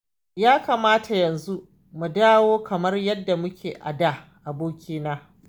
Ya kamata yanzu mu dawo kamar yadda muke a da abokina